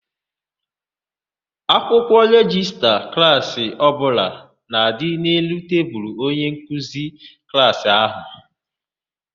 Akwụkwọ rejista klaasị ọbụla na-adị n'elu tebulu onyenkeuzi klaasị ahụ.